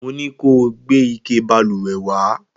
Mo ní kó o gbé ike balùwẹ̀ wá!